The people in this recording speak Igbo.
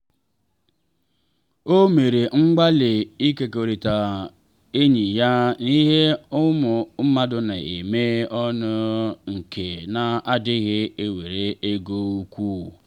o mere mgbalị ịkekọrịta enyi ya n’ihe ụmụ mmadụ na-eme ọnụ nke na-adịghị ewere ego ukwu.